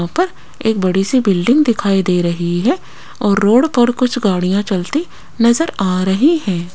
एक बड़ी सी बिल्डिंग दिखाई दे रही है और रोड पर कुछ गाड़ियां चलती नजर आ रही हैं।